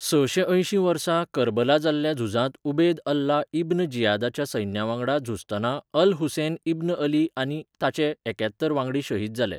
सशें अयशीं वर्सा करबला जाल्ल्या झुजांत उबेद अल्ला इब्न जियादाच्या सैन्यावांगडा झुजतना अल हुसैन इब्न अली आनी ताचे एक्यात्तर वांगडी शहीद जाले.